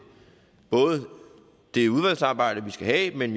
både det udvalgsarbejde vi skal have men